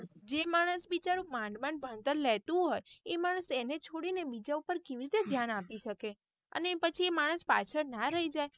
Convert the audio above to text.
જે માણસ બિચારું મન મન ભણતર લેતું હોય એ માણસ એને છોડીને બીજા ઉપર કેવી રીતે ધ્યાન આપી શકે અને પછી એ માણસ પાછળ ના રહી જાય.